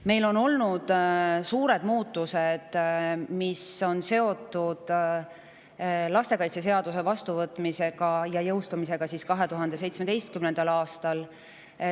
Meil on olnud suured muutused, mis on seotud lastekaitseseaduse vastuvõtmise ja jõustumisega 2017. aastal.